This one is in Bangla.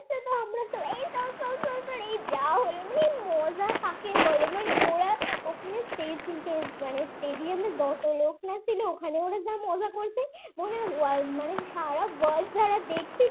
এই যা হলো না মজা কাকে বলে ওরা ওখানে Stage মানে stage stadium যত লোক ছিল ওরা জানা মজা করছে world যারা দেখছি